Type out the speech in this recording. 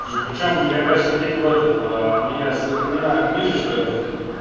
и причём я кажется видел этот у меня сохранена книжечка